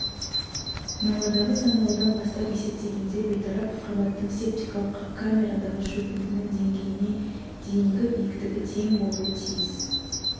науадағы саңылаудан бастап есептегенде бейтарап қабаттың септикалық камерадағы шөгіндінің деңгейіне дейінгі биіктігі тең болуы тиіс